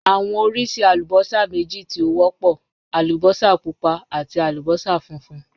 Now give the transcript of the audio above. Awọn oriṣi alubosa meji ti o wọpọ: alubosa pupa ati alubosa funfun.